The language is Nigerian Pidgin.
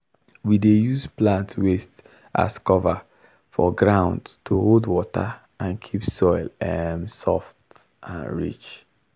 we dey use plant waste as cover for ground to hold water and keep soil um soft and rich.